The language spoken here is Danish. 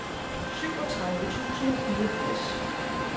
syvogtredive tusind og fireogfirs